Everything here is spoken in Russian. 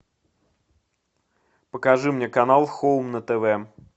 покажи мне канал хоум на тв